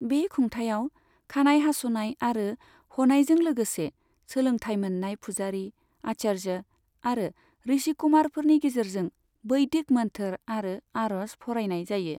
बे खुंथायाव, खानाय हास'नाय आरो ह'नायजों लोगोसे, सोलोंथाय मोननाय फुजारि, आचार्य आरो ऋषिकुमारफोरनि गेजेरजों बैदिक मोन्थोर' आरो आर'ज फरायनाय जायो।